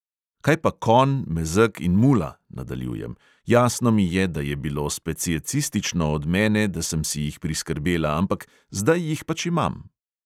"Kaj pa konj, mezeg in mula," nadaljujem, "jasno mi je, da je bilo speciecistično od mene, da sem si jih priskrbela, ampak zdaj jih pač imam.